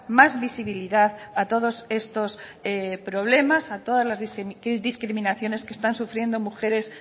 más visibilidad a todos estos problemas a todas las discriminaciones que están sufriendo mujeres